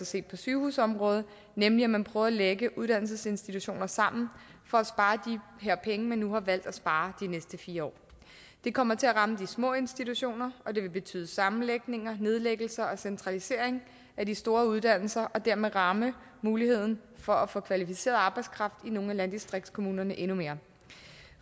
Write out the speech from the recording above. set på sygehusområdet nemlig at man prøver at lægge uddannelsesinstitutioner sammen for at spare de her penge man nu har valgt at spare de næste fire år det kommer til at ramme de små institutioner og det vil betyde sammenlægninger nedlæggelser og centralisering af de store uddannelser og dermed rammes muligheden for at få kvalificeret arbejdskraft i nogle af landdistriktskommunerne endnu mere